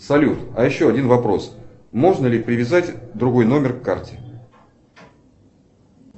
салют а еще один вопрос можно ли привязать другой номер к карте